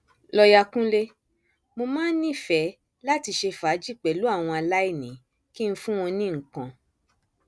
lọọyà kúnlẹ mo máa ń nífẹẹ láti ṣe fàájì pẹlú àwọn aláìní kí n fún wọn ní nǹkan